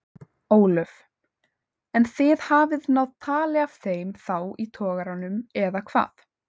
Ólöf: En þið hafið náð tali af þeim þá í togaranum eða hvað?